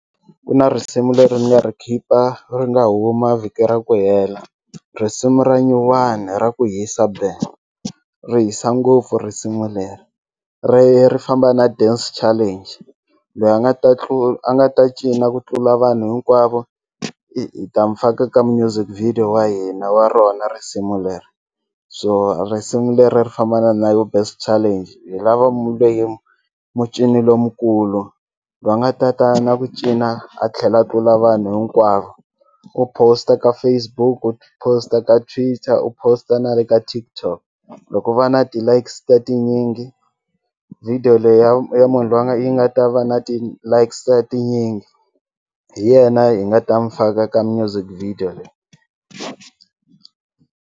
Ku na risimu leri ni nga ri khipa ri nga huma vhiki ra ku hela risimu ra nyuwani ra ku hisa be ri hisa ngopfu risimu leri ri ri famba na dance challenge loyi a nga ta nga ta cina ku tlula vanhu hinkwavo hi ta mu faka ka music video wa hina wa rona risimu leri so risimu leri ri famba na dance challenge hi lava mucini lomukulu loyi a nga ta ka na ku cina a tlhela a tlula vanhu hinkwavo u post-a ka Facebook u post-a ka Twitter u post-a na le ka TikTok loko va na ti-likes ta tinyingi video ya munhu loyi a nga yi nga ta va na ti-likes ta tinyingi hi yena yi nga ta mu faka ka music video leyi.